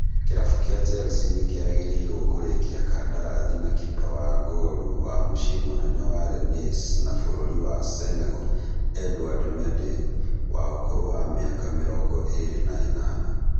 Kĩrabu kĩa Chelsea nĩkĩrĩgĩrĩirwo kũrĩkia kandarathi na kipa wa ngolu wa mũcĩĩ mũnene wa Rennes na bũrũri wa Senegal Edouard Mendey wa ũkũrũ wa mĩaka mĩrongo ĩrĩ na ĩnana